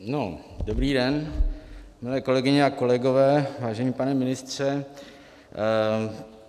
Dobrý den, milé kolegyně a kolegové, vážený pane ministře.